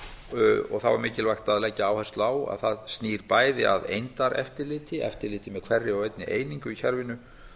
og þá er mikilvægt að leggja áherslu á að það snýr bæði að eindaeftirliti eftirliti með hverri og einni einingu í kerfinu